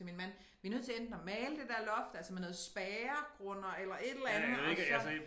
Til min mand vi nødt til enten at male det der loft altså med noget spærregrunder eller et eller andet og så